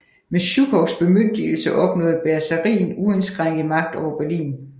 Med Sjukovs bemyndigelse opnåede Bersarin uindskrænket magt over Berlin